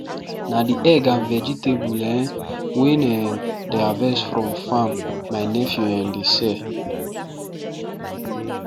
na the egg and vegetable um wen um dem harvest from farm my nephew um dey sell